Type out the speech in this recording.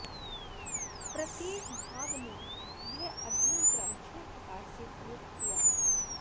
प्रम्येक भाग में यह अध्ययन क्रम छह प्रकार से प्रयुक्त हुआ है